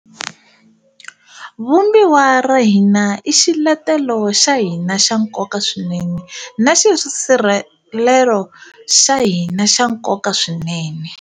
Vumbiwa ra hina i xiletelo xa hina xa nkoka swinene na xisirhelelo xa hina xa nkoka swinene.